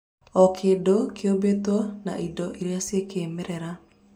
Okĩndũkĩũmbĩtwo na indo irĩa cĩa kĩmerera